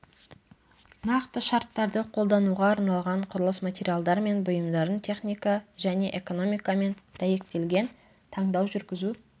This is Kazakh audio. нақты шарттарды қолдануға арналған құрылыс материалдар мен бұйымдардың техника және экономикамен дәйектелген таңдау жүргізу